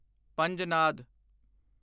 Panjnad